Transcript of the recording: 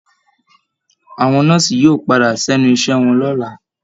Àwọn Nọ́ọ̀siì yóò padà sẹ́ni iṣẹ́ wọn lọ́la